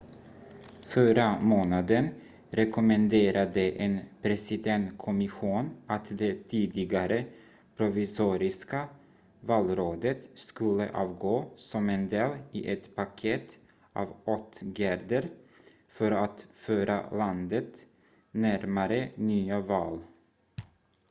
förra månaden rekommenderade en presidentkommission att det tidigare provisoriska valrådet skulle avgå som en del i ett paket av åtgärder för att föra landet närmare nya val